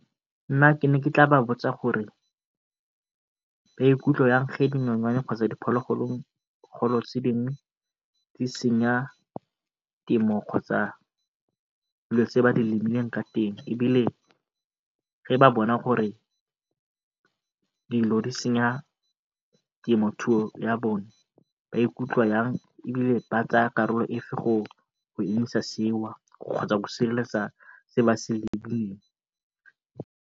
Nna ke ne ke tla ba botsa gore ba ikutlwa yang dinonyane kgotsa diphologolo tse dingwe di senya temo kgotsa dilo tse ba di lemileng ka teng ebile ba bona gore dilo di senya temothuo ya bone ba ikutlwa ebile ba tsaya karolo efe go emisa seo kgotsa go sireletsa se ba se lemileng.